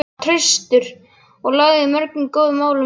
Hann var traustur og lagði mörgum góðum málum lið.